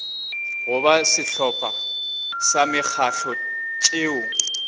goba sehlopha sa mekgatlo tšeo